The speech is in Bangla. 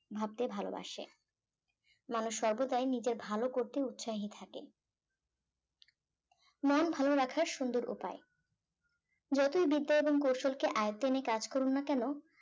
ভাবতে ভালোবাসে মানুষ সর্বদাই নিজের ভালো করতে উৎসাহিত থাকে মন ভালো রাখার সুন্দর উপায় যতই বিদ্যা এবং কৌশলকে আয়ত্তে নিয়ে কাজ করুন না কেন